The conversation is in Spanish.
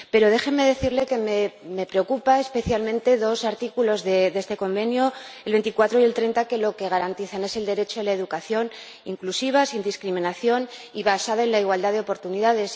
Pero déjenme decirles que me preocupan especialmente dos artículos de esta Convención, el 24 y el 30, que garantizan el derecho a la educación inclusiva, sin discriminación y basada en la igualdad de oportunidades.